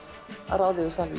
ráða yfir salnum